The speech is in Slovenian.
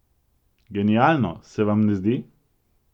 Genialno, se vam ne zdi?